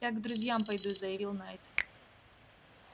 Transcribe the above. я к друзьям пойду заявил найд